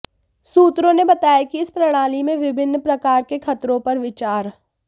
सूत्रों ने बताया कि इस प्रणाली में विभिन्न प्रकार के खतरों पर विचार